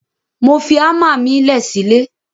Mo fi àmà mi lẹ sí lẹ.